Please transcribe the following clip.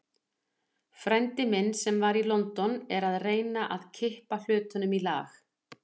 Frændi minn, sem var í London, er að reyna að kippa hlutunum í lag.